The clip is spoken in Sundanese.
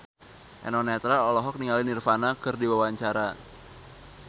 Eno Netral olohok ningali Nirvana keur diwawancara